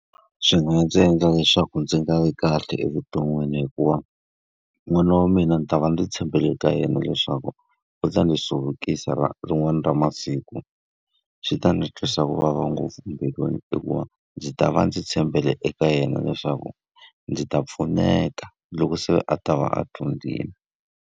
Swi nga ndzi endla leswaku ndzi nga vi kahle evuton'wini hikuva n'wana wa mina ni ta va ndzi tshembele ka yena leswaku u ta ndzi hluvukisa rin'wana ra masiku. Swi ta ndzi twisa ku vava ngopfu mbilwini hikuva ndzi ta va ndzi tshembele eka yena leswaku, ndzi ta pfuneka loko se a ta va a dyondzile.